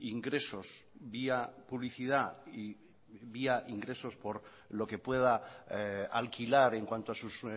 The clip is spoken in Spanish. ingresos vía publicidad y vía ingresos por lo que pueda alquilar en cuanto a sus